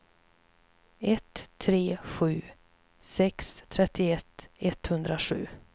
ett tre sju sex trettioett etthundrasju